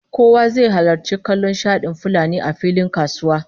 Kowa zai halarci kallon shadin fulanin a filin kasuwa